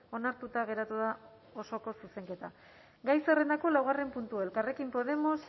onartuta geratu da osoko zuzenketa gai zerrendako laugarren puntua elkarrekin podemos